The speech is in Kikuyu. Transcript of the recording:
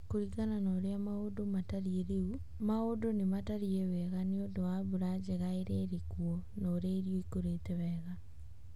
Kũringana na ũrĩa maũndũ matariĩ rĩũ, maũndũ nĩ matariĩ wega nĩ ũndũ wa mbura njega ĩrĩa ĩrĩkuo na ũrĩa irio ikũrĩte wega